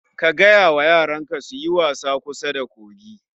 Ka gaya wa yaran ka su yi wasa kusa da kogin